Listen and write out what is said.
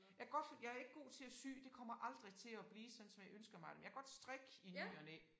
Jeg kan godt jeg ikke god til at sy det kommer aldrig til at blive sådan som jeg ønsker mig det men jeg kan godt strikke i ny og næ